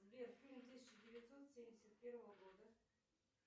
сбер фильм тысяча девятьсот семьдесят первого года